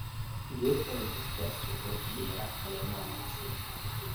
Geedka hibiscus wuxuu bixiya caleemo wanaagsan.